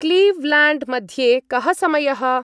क्लीव्ल्याण्ड्-मध्ये कः समयः?